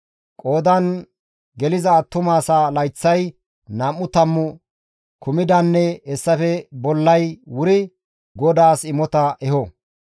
Qoodan geliza attuma asaa layththay nam7u tammu kumidaynne hessafe bollay wuri GODAAS imota eho.